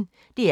DR P1